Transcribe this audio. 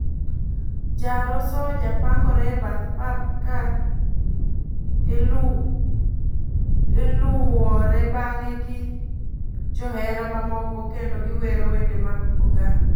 Jaro soldier pangore e path pap ka iluwore bange gi johera mamoko kendo giwero wende mag kogalo.